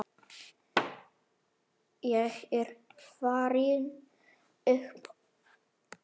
Ég er farinn upp úr.